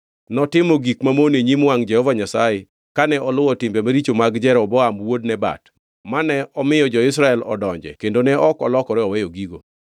Notimo gik mamono e nyim wangʼ Jehova Nyasaye, kane oluwo timbe maricho mag Jeroboam wuod Nebat, mane omiyo jo-Israel odonje kendo ne ok olokore weyo gigo.